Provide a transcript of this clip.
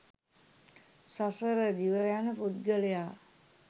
සසර දිව යන පුද්ගලයා